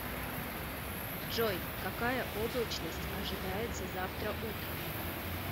джой какая облачность ожидается завтра утром